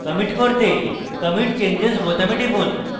commit করতে commit changes বোতামে টিপুন